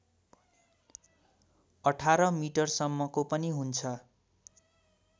१८ मिटरसम्मको पनि हुन्छ